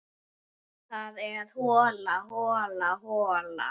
Það er hola, hola, hola.